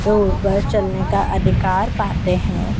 Road पर चलने का अधिकार पाते है।